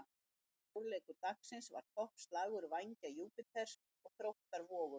Stórleikur dagsins var toppslagur Vængja Júpíters og Þróttar Vogum.